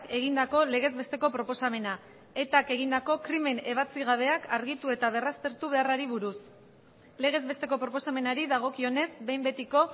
egindako legez besteko proposamena etak egindako krimen ebatzi gabeak argitu eta berraztertu beharrari buruz legez besteko proposamenari dagokionez behin betiko